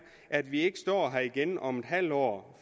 at vi ikke står her igen om et halvt år